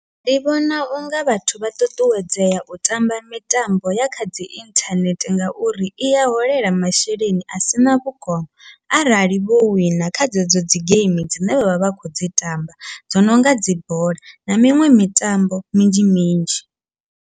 Ndi vhona unga vhathu vha ṱuṱuwedzea u tamba mitambo ya kha dzi inthanethe, ngauri iya holela masheleni asina vhukono arali vho wina kha dzedzo dzi geimi dzine vha vha vha khou dzi tamba, dzo nonga dzi bola na miṅwe mitambo minzhi minzhi.